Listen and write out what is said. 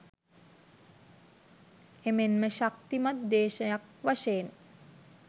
එමෙන්ම ශක්තිමත් දේශයක් වශයෙන්